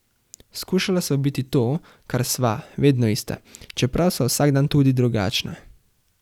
Skušala sva biti to, kar sva, vedno ista, čeprav sva vsak dan tudi drugačna.